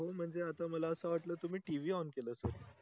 हो म्हणजे आता मला अस वाटल तुम्ही TVon केल सर